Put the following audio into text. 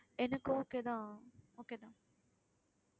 எனக்கு okay தான் okay தான்